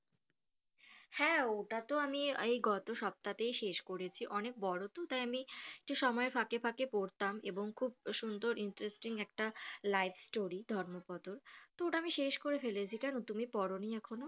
হ্যাঁ ওটা তো আমি এই গত সপ্তাতেই শেষ করেছি অনেক বড় তো তাই আমি যে সময় ফাঁকে ফাঁকে পড়তাম এবং খুব সুন্দর interesting একটা life story ধর্মপত্র আমি শেষ করে ফেলেছি কেন তুমি পরনি এখনো